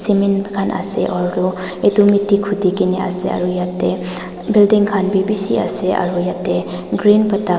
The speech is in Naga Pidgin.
cement khan ase orlo edu meti khudi kae na ase aro yatae building khan bi bishi ase aro yatae green --